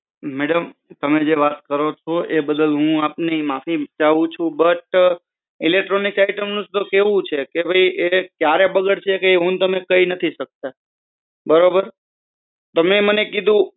madam તમે જે વાત કરો છો એ બદલ હું આપની માફી ચાહું છું બટ electronic item નું તો કેવું છે કે ભઈ એ ક્યારે બગડશે એ હું ને તમે કહી નથી સકતા. બરોબર? તમે મને કીધું